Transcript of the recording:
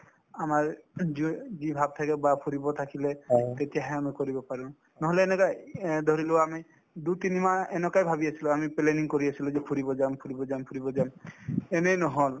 আমাৰ যিও যি ভাব থাকে বা ফুৰিব থাকিলে তেতিয়াহে আমি কৰিব পাৰো নহলে এনেকুৱাই এই ধৰিলোৱা আমি দুই তিনি মাহ এনেকুৱাই ভাবি আছিলো আমি planning কৰি আছিলো যে ফুৰিব যাম ফুৰিব যাম ফুৰিব যাম এনেই নহল